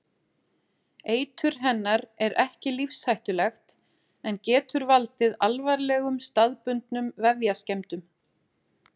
Eitur hennar er ekki lífshættulegt en getur valdið alvarlegum staðbundnum vefjaskemmdum.